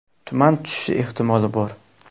Tuman tushishi ehtimoli bor.